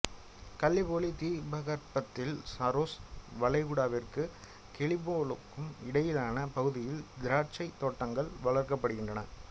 Gallipoli தீபகற்பத்தில் சரோஸ் வளைகுடாவிற்கும் கெலிபோலுக்கும் இடையிலான பகுதியில் திராட்சைத் தோட்டங்கள் வளர்க்கபடுகின்றன